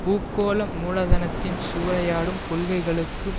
பூகோள மூலதனத்தின் சூறையாடும் கொள்கைகளுக்கு